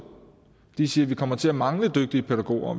de siger vi kommer til at mangle dygtige pædagoger